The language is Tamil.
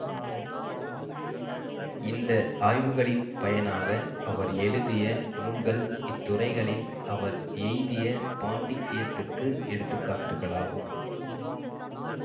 இந்த ஆய்வுகளின் பயனாக அவர் எழுதிய நூல்கள் இத்துறைகளில் அவர் எய்திய பாண்டித்தியத்துக்கு எடுத்துக்காட்டுகளாகும்